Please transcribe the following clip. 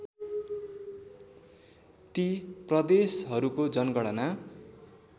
ती प्रदेशहरूको जनगणना